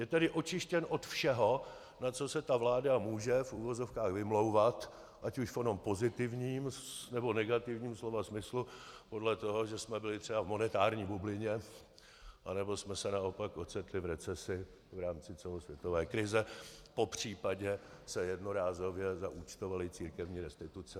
Je tedy očištěn od všeho, na co se ta vláda může v uvozovkách vymlouvat, ať už v onom pozitivním, nebo negativním slova smyslu, podle toho, že jsme byli třeba v monetární bublině, anebo jsme se naopak ocitli v recesi v rámci celosvětové krize, popřípadě se jednorázově zaúčtovaly církevní restituce.